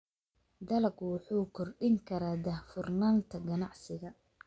Dalaggu wuxuu kordhin karaa daahfurnaanta ganacsiga.